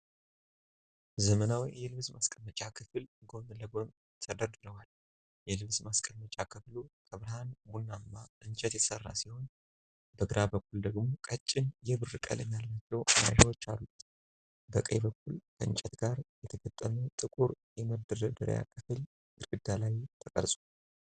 ዘመናዊ የልብስ ማስቀመጫ ክፍል ጎን ለጎን ተደርድረዋል፤ የልብስ ማስቀመጫ ክፍሉ ከብርሃን ቡናማ እንጨት የተሠራ ሲሆን፣ በግራ በኩል ደግሞ ቀጭን የብር ቀለም ያላቸው መያዣዎች አሉት። በቀኝ በኩል፣ ከእንጨት ጋር የተገጠመ ጥቁር የመደርደሪያ ክፍል ግድግዳ ላይ ተቀርጿል።